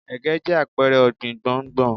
Ẹ̀gẹ́ jẹ́ àpẹrẹ ọ̀gbìn gbòǹgbò.